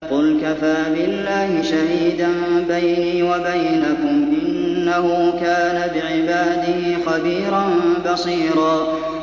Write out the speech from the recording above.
قُلْ كَفَىٰ بِاللَّهِ شَهِيدًا بَيْنِي وَبَيْنَكُمْ ۚ إِنَّهُ كَانَ بِعِبَادِهِ خَبِيرًا بَصِيرًا